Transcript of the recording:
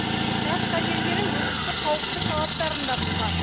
тас карьерлері өндірістік қауіпсіздік талаптарын да бұзған